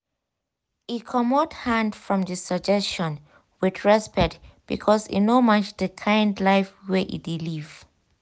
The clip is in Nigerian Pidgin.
e comot hand from d suggestion with respect because e no match d kind life wey e dey live